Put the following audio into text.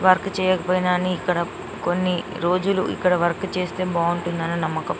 Work చేయకపోయినా అని ఇక్కడ కొన్ని రోజులు ఇక్కడ వర్క్ చేస్తే బాగుంటుందని నమ్మకం.